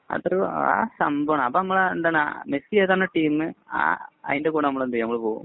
അത്തരം ആ ഒരു സംഭവമാണ്. മെസ്സി ഏതാണോ ടീമ്. അതിന്‍റെ കൂടെ എന്ത് ചെയ്യും. നമ്മള് പോകും.,